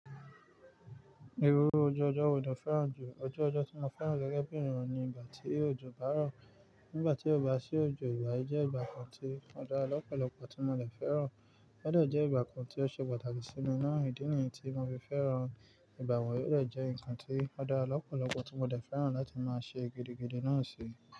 Irú ojú ọjọ́ wó ní ó fẹ́ràn jù. Ojú ọjọ́ tí mo fẹ́ràn gẹ́gẹ́ bì ènìyàn ni ìgbà tí òjò bá rọ̀. Nígbà tí ó bá sí òjò, ìgbà yi je nkan tí ó dára lọ́pọ̀lọpọ̀ tí mo lè fẹ́ràn. Ọ̀ de jẹ́ ìgbà kan tí ó ṣe pàtàkì sí mi ná. Ìdí nìyí tí mo fi fẹ́ràn. Ìgbà wọ̀nyí ó dè jẹ́ ǹkan tí ó dára lọ́pọ̀lọpọ̀ tí mo dè fẹ́ràn láti máa ṣe gidigidi náà ṣi.